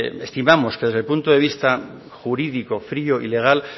estimamos que desde el punto de vista jurídico frío y legal